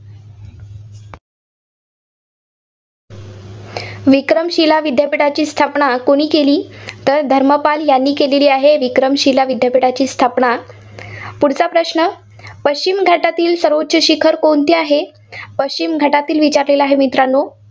विक्रमशिला विद्यापीठाची स्थापना कोणी केली? तर धर्मपाल यांनी केली आहे विक्रमशिला विद्यापीठाची स्थापना. पुढच्या प्रश्न. पश्चिम घाटातील सर्वोच्च शिखर कोणते आहे? पश्चिम घाटातील विचारलेला आहे, मित्रांनो.